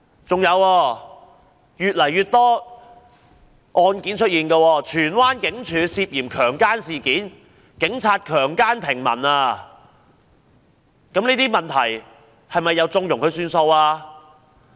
這類案件越來越多，有女子在荃灣警署涉嫌被強姦，這是一宗警察強姦平民的事件，這些問題是否又縱容了事？